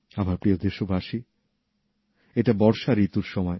আমার প্রিয় দেশবাসী এটা বর্ষা ঋতুর সময়